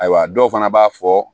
Ayiwa dɔw fana b'a fɔ